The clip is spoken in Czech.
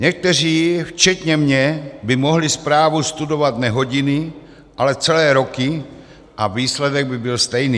Někteří, včetně mě, by mohli zprávu studovat ne hodiny, ale celé roky a výsledek by byl stejný.